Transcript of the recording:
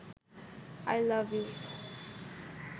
I love you